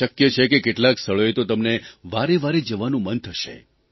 અને શક્ય છે કે કેટલાંક સ્થળોએ તો તમને વારેવારે જવાનું મન થશે